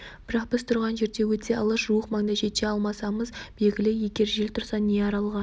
бірақ біз тұрған жерден өте алыс жуық маңда жете алмасымыз белгілі егер жел тұрса не аралға